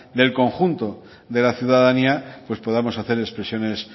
del conjunto de la ciudadanía pues podamos hacer expresiones